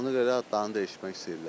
Ona görə adlarını dəyişmək istəyirlər.